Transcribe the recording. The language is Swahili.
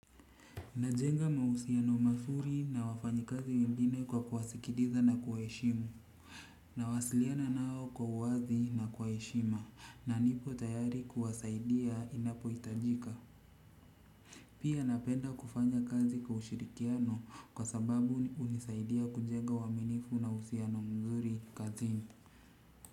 Najenga mahusiano mazuri na wafanyikazi wengine kwa kuwasikiliza na kuwaheshimu nawasiliana nao kwa uwazi na kwa heshima na nipo tayari kuwasaidia inapohitajika pia napenda kufanya kazi kwa ushirikiano kwa sababu hunisaidia kujenga uaminifu na uhusiano mzuri kazini.